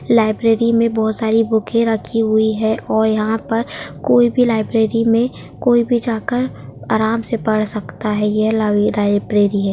Library में बहुत सारी वूखे -ए रखी हुई है। और यहां पर कोई भी लाइब्रेरी में कोई भी जाकर आराम से पढ़ सकता है यह लाल लाइब्रेरी है।